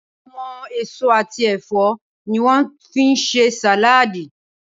Awòn ésó àtí èfò niwòn fi n sé sàládí